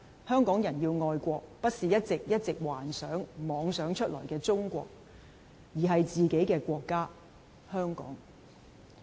香港人要愛的國，不是一直一直幻想、妄想出來的中國，而是自己的國家——香港。